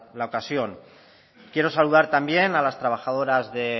la ocasión quiero saludar también a las trabajadoras de